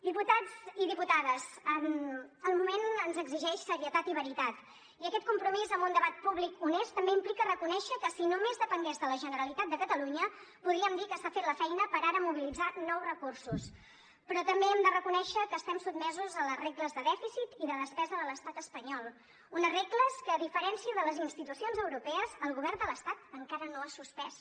diputats i diputades el moment ens exigeix serietat i veritat i aquest compromís amb un debat públic honest també implica reconèixer que si només depengués de la generalitat de catalunya podríem dir que s’ha fet la feina per ara mobilitzar nous recursos però també hem de reconèixer que estem sotmesos a les regles de dèficit i de despesa de l’estat espanyol unes regles que a diferència de les institucions europees el govern de l’estat encara no ha suspès